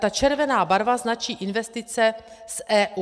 Ta červená barva značí investice z EU.